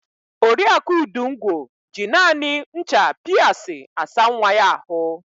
Oriaku Udungwo ji naanị ncha Piasi asa nwa ya àhụ́.